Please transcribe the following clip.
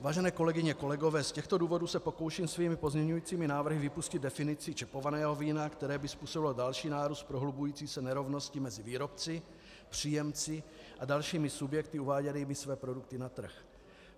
Vážené kolegyně, kolegové, z těchto důvodů se pokouším svými pozměňujícími návrhy vypustit definici čepovaného vína, které by způsobilo další nárůst prohlubující se nerovnosti mezi výrobci, příjemci a dalšími subjekty uváděnými své produkty na trh.